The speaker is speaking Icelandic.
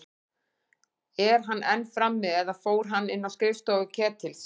Er hann enn frammi- eða fór hann inn á skrifstofu Ketils?